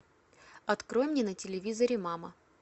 открой мне на телевизоре мама